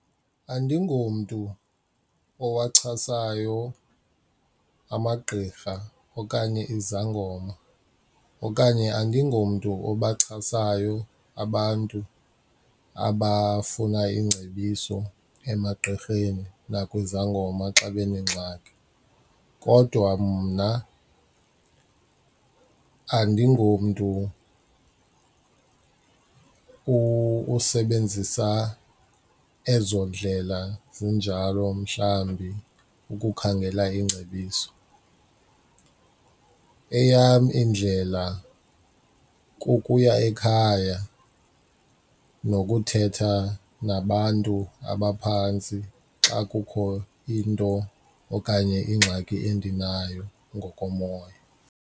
Andingomntu owachasayo amagqirha okanye izangoma okanye andingomntu obachasayo abantu abafuna iingcebiso emagqirheni nakwizangoma xa benengxaki kodwa mna andingomntu usebenzisa ezo ndlela zinjalo mhlawumbi ukukhangela iingcebiso. Eyam indlela kukuya ekhaya nokuthetha nabantu abaphantsi xa kukho into okanye ingxaki endinayo ngokomoya.